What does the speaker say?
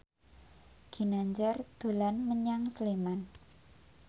Ginanjar dolan menyang Sleman